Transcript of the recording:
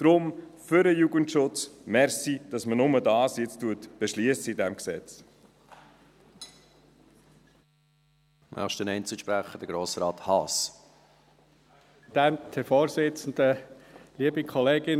Daher, für den Jugendschutz: Danke, dass man in diesem Gesetz jetzt nur das eine beschliesst.